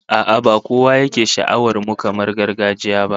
A'a, ba kowa yake sha'awar mukaman gargajiya ba